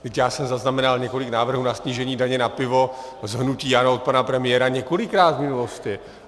Vždyť já jsem zaznamenal několik návrhů na snížení daně na pivo z hnutí ANO od pana premiéra několikrát v minulosti.